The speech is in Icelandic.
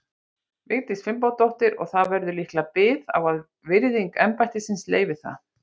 Vigdísi Finnbogadóttur, og það verður líklega bið á að virðing embættisins leyfi það.